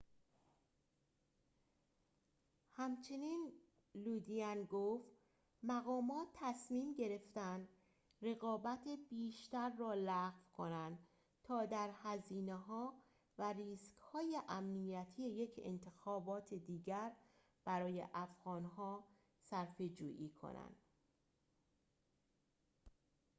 همچنین لودین گفت مقامات تصمیم گرفتند رقابت بیشتر را لغو کنند تا در هزینه‌ها و ریسک‌های امنیتی یک انتخابات دیگر برای افغان‌ها صرفه‌جویی کنند